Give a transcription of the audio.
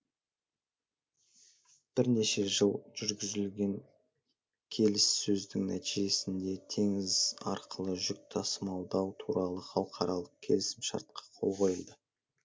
бірнеше жыл жүргізілген келіссөздің нәтижесінде теңіз арқылы жүк тасымалдау туралы халықаралық келісімшартқа қол қойылды